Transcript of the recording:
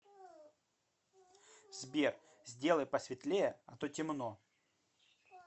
сбер сделай посветлее а то темно